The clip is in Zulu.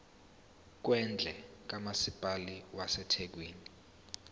kwendle kamasipala wasethekwini